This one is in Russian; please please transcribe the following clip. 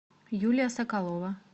юлия соколова